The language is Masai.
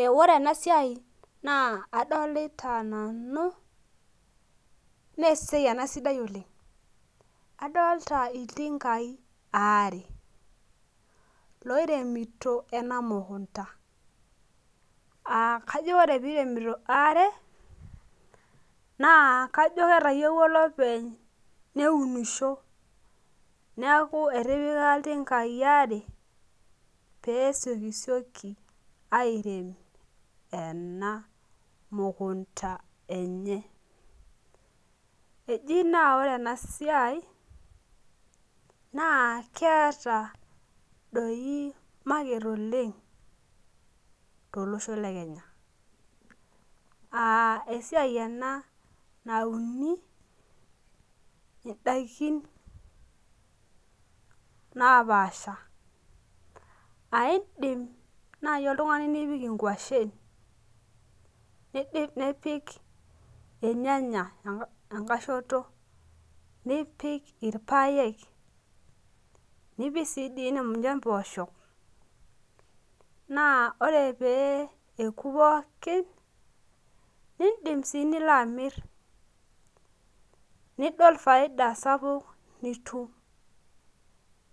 Eh ore ena siai naa adolita nanu mesiai ena sidai oleng adolta iltinkai aare loiremito ena mukunta akajo ore piremito aare naa kajo ketayiewua olopeny neunisho niaku etipika iltinkai aare pee siokisioki airem ena mukunta enye eji naa ore ena siai naa keeta doi market oleng tolosho le kenya aa esiai ena nauni indaikin napaasha aindim naaji oltung'ani nipik inkuashen nidip nipik irnyanya enka enkae shoto nipik irpayek nipik sii dii ninye impoosho naa ore pee eku pookin nindim sii nilo amirr nidol faida sapuk nitu